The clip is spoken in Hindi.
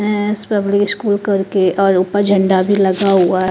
पब्लिक स्कूल करके और ऊपर झंडा भी लगा हुआ है ।